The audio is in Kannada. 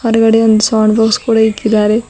ಮುಂಡ್ಗದೆ ಒಂದ್ ಸೌಂಡ್ ಬಾಕ್ಸ್ ಕೂಡ ಇಕ್ಕಿದ್ದಾರೆ.